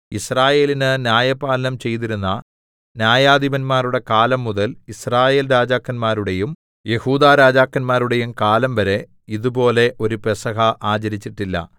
യിസ്രായേലിന് ന്യായപാലനം ചെയ്തിരുന്ന ന്യായാധിപന്മാരുടെ കാലം മുതൽ യിസ്രായേൽരാജാക്കന്മാരുടെയും യെഹൂദാരാജാക്കന്മാരുടെയും കാലം വരെ ഇതുപോലെ ഒരു പെസഹ ആചരിച്ചിട്ടില്ല